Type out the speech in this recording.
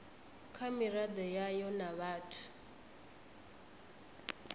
kha miraḓo yayo na vhathu